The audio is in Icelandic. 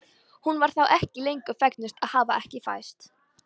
Hún var þá ekki lengur fegnust að hafa ekki fæðst.